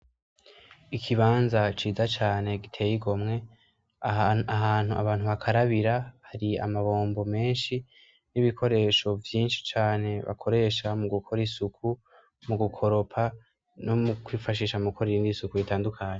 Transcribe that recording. Ikibanza ciza cane giteye igomwe ahantu abantu bakarabira hari amabombo menshi nibikoresho vyinshi cane bakoresha mugukora isuku mugukoropa no mukwifasisha mugukora iyindi suku itandukanye